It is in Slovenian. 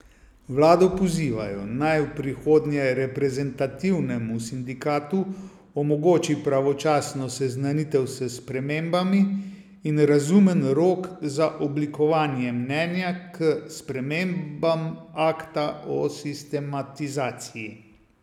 Vlado pozivajo, naj v prihodnje reprezentativnemu sindikatu omogoči pravočasno seznanitev s spremembami in razumen rok za oblikovanje mnenja k spremembam akta o sistemizaciji.